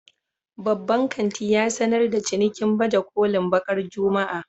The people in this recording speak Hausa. Babban kanti ya sanar da cinikin baje kolin bakar Juma'a